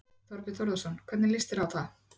Þorbjörn Þórðarson: Hvernig líst þér á það?